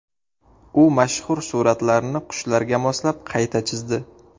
U mashhur suratlarni qushlarga moslab qayta chizdi .